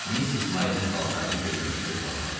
Missis Marinin paltarını geyinib özümə baxırdım.